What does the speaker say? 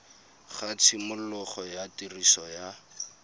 ga tshimologo ya tiriso ya